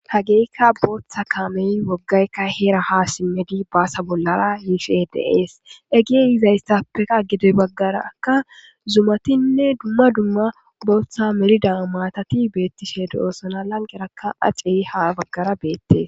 hageeykka booththa kaamey woggaykka heera ha simmedi baasa bollara yishshe de'ees hegeyi yizastappeka ged baggaraka zumatinne dumma dumma booththa merida maatati beettishe do'oosona lanqerakka acey ha baggara beettes